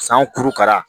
San kurukara